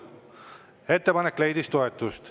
Ettepanek leidis toetust.